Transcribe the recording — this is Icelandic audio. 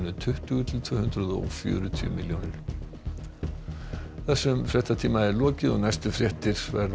tuttugu til tvö hundruð og fjörutíu milljónir þessum fréttatíma er lokið næstu fréttir verða